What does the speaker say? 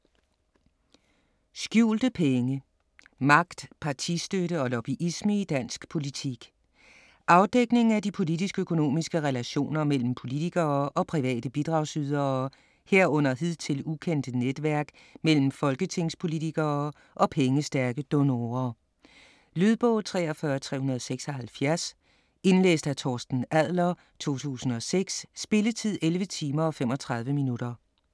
Skjulte penge: magt, partistøtte og lobbyisme i dansk politik Afdækning af de politisk-økonomiske relationer mellem politikere og private bidragsydere, herunder hidtil ukendte netværk mellem folketingspolitikere og pengestærke donorer. Lydbog 43376 Indlæst af Torsten Adler, 2006. Spilletid: 11 timer, 35 minutter.